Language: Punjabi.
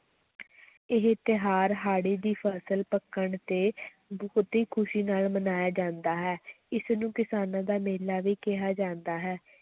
ਇਹ ਤਿਉਹਾਰ ਹਾੜੀ ਦੀ ਫਸਲ ਪੱਕਣ ਤੇ ਬਹੁਤ ਹੀ ਖ਼ੁਸ਼ੀ ਨਾਲ ਮਨਾਇਆ ਜਾਂਦਾ ਹੈ ਇਸ ਨੂੰ ਕਿਸਾਨਾਂ ਦਾ ਮੇਲਾ ਵੀ ਕਿਹਾ ਜਾਂਦਾ ਹੈ।